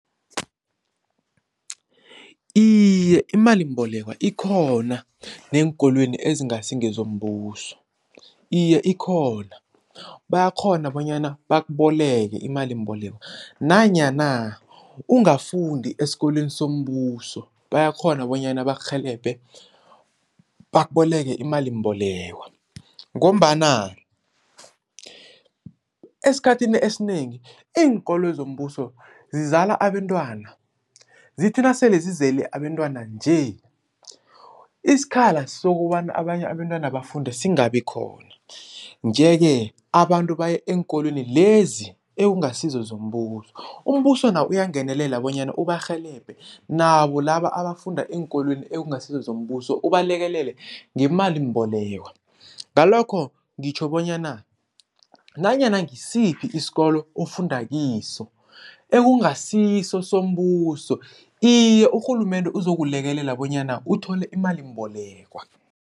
Iye imalimbolekwa ikhona neenkolweni ezingasi ngezombuso, iye ikhona. Bayakghona bonyana bakuboleke imalimbolekwa nanyana ungafundi esikolweni sombuso bayakghona bonyana bakurhelebhe bakuboleke imalimbolekwa ngombana esikhathini esinengi iinkoloyi zombuso zizala abentwana zithi nasele zizele abentwana nje isikhala sokobana abanye abentwana bafunde singabi khona. Nje-ke abantu baye eenkolweni lezi ekungasizo zombuso, umbuso nawo uyangenelela bonyana ubarhelebhe nabo laba abafunda eenkolweni ekungasizo zombuso ubalekelele ngemalimbolekwa. Ngalokho ngitjho bonyana nanyana ngisiphi isikolo ofunda kiso ekungasiso sombuso, iye urhulumende uzokulekelela bonyana uthole imalimbolekwa.